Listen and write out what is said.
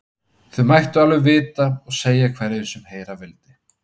Það mættu þau alveg vita og segja hverjum sem heyra vildi.